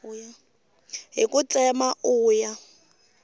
hi ku tsema u ya